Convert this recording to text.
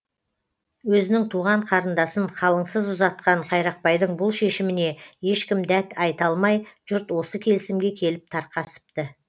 өзінің туған қарындасын қалыңсыз ұзатқан қайрақбайдың бұл шешіміне ешкім дәт айта алмай жұрт осы келісімге келіп тарқасыпты